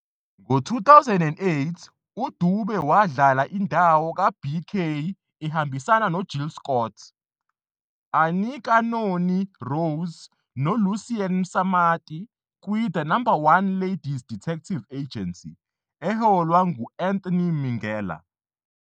Ngo-2008, uDube wadlala indawo kaBK ehambisana noJill Scott, Anika Noni Rose noLucian Msamati "kwiThe No 1 Ladies 'Detective Agency", eholwa ngu- Anthony Minghella.